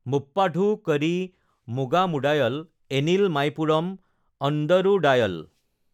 মুপ্পাধু কড়ি মুগামুডায়ল, এনিল মাইপুৰম অণ্ড্ৰুডায়ল